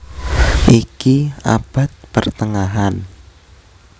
Iki abad pertengahan